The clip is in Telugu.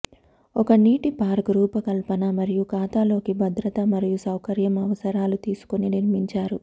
ఒక నీటి పార్క్ రూపకల్పన మరియు ఖాతాలోకి భద్రత మరియు సౌకర్యం అవసరాలు తీసుకొని నిర్మించారు